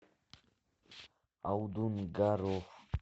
алдунгаров